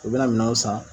U bɛna minɛnw san